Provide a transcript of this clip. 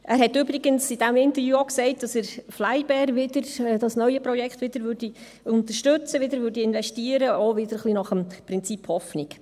Er hat übrigens in diesem Interview auch gesagt, dass er das neue Projekt «FlyBair» wieder unterstützen werde, wieder investieren werde, wieder nach dem Prinzip Hoffnung.